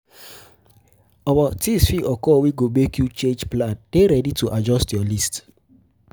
Things fit occur wey go make you change plan dey ready to adjust your list